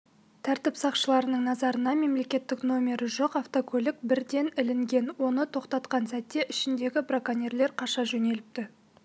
тәртіп сақшыларының назарына мемлекеттік номері жоқ автокөлік бірден ілінген оны тоқтатқан сәтте ішіндегі браконьерлер қаша жөнеліпті